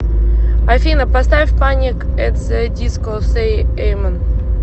афина поставь паник эт зе диско сэй эмен